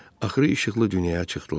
Axırı işıqlı dünyaya çıxdılar.